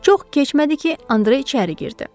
Çox keçmədi ki, Andre içəri girdi.